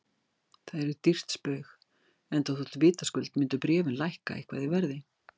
Það yrði dýrt spaug, enda þótt vitaskuld myndu bréfin lækka eitthvað í verði.